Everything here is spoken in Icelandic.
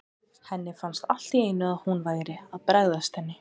Henni fannst allt í einu að hún væri að bregðast henni.